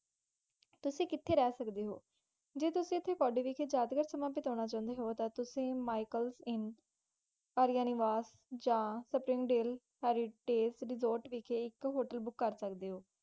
ਤੁਸੀ ਕੀਤੀ ਰਹੇ ਸਕਦੇ ਹੋ, ਜੇ ਤੁਸੀ ਕੋਰੇ ਵਿਖਾਈ ਕੌੜੀ ਵਿਖਾਈ ਸਮਾਂ ਬੇਤਾਨਾ ਤੁਸੀ ਮਿਕਲਸ inn, Arya Niwas, Spring Dell heritage hotel ਵਖਾਈ ਇਕ ਹੋਟਲ ਬੁਕ ਕਰ ਸਕਦੇ ਹੋ